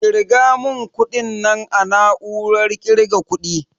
Ƙirga mun kuɗin nan a na'urar ƙirga kuɗi